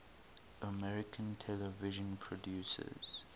american television producers